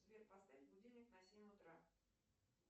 сбер поставь будильник на семь утра